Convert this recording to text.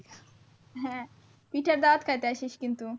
হ্যাঁ। পিঠার দাওয়াত খাইতে আসিস কিন্তু।